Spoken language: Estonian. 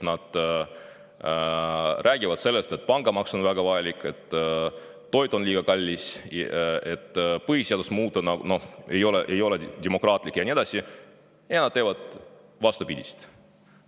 Nad räägivad sellest, et pangamaks on väga vajalik, et toit on liiga kallis, et põhiseadust muuta ei ole demokraatlik ja nii edasi, aga nad teevad vastupidist.